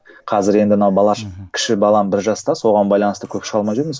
қазір енді ана кіші балам бір жаста соған байланысты көп шыға алмай жүрміз